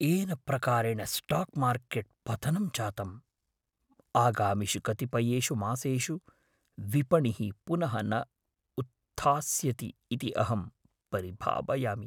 येन प्रकारेण stock market पतनं जातम्, आगामिषु कतिपयेषु मासेषु विपणिः पुनः न उत्थास्यति इति अहं परिभावयामि।